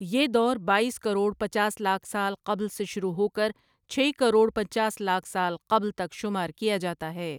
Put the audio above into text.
یہ دور بایس کروڑ پچاس لاکھ سال قبل سے شروع ہو کر چھ کروڑ پنچاس لاکھ سال قبل تک شمار کیا جاتا ہے ۔